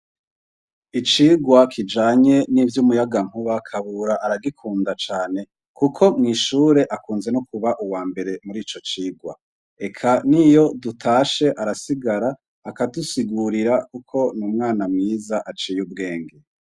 Icigwa kijanye n'ivyo umuyaga nkuba kabura aragikunda cane, kuko mwishure akunze no kuba uwa mbere muri ico cigwa, eka niyo dutashe arasigara akadusigurira kuko ni umwana mwiza, aciye ubwenge.